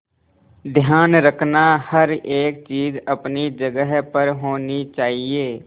ध्यान रखना हर एक चीज अपनी जगह पर होनी चाहिए